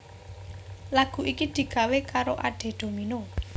Lagu iki digawé karo Ade Domino